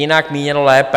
Jinak, míněno lépe.